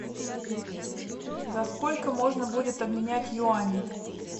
за сколько можно будет обменять юани